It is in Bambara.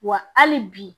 Wa hali bi